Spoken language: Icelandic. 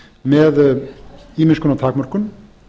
með ýmiss konar takmörkun